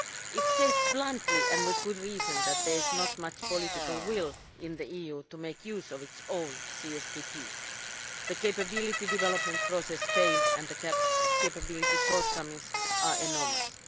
It states bluntly, and with good reason, that there is not much political will in the EU to make use of the CSDP. The capability development process failed, and the capability shortcomings are enormous.